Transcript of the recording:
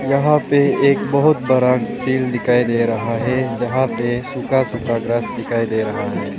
यहां पे एक बहुत बड़ा तेल दिखाई दे रहा है जहां पे सूखा सूखा ग्रास दिखाई दे रहा है।